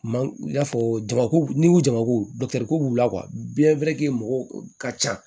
Man i n'a fɔ jamakulu n'i ko jamakoyoko b'u la mɔgɔw ka ca